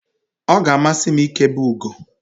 ọ ga-amasị m ịkebe ugo